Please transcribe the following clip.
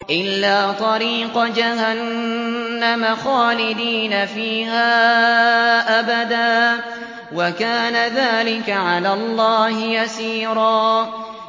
إِلَّا طَرِيقَ جَهَنَّمَ خَالِدِينَ فِيهَا أَبَدًا ۚ وَكَانَ ذَٰلِكَ عَلَى اللَّهِ يَسِيرًا